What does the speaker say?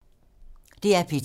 DR P2